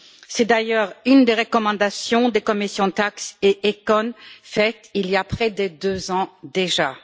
C'est d'ailleurs une des recommandations des commissions TAXE et ECON faite il y a près de deux ans déjà.